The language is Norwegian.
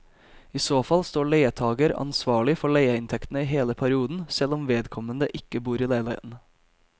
I så fall står leietager ansvarlig for leieinntektene i hele perioden selv om vedkommende ikke bor i leiligheten.